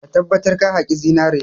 Ka tabbatar ka haƙi zinare!